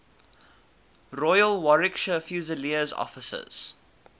royal warwickshire fusiliers officers